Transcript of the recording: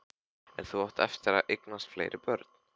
En þú átt eftir að eignast fleiri börn.